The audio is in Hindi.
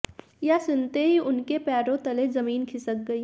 यह सुनते ही उनके पैरों तले जमीन खिसक गई